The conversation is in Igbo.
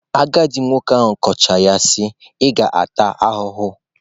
Agadị nwoke a kọchaa ya sị" ị ga-ata ahụhụ ."